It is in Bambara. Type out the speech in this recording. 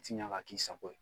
Fiɲa ka k'i sago la